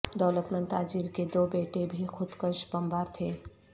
دولتمند تاجر کے دو بیٹے بھی خودکش بمبار تھے